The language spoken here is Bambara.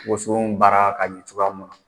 WosO baara ka ɲi cogoya mun na,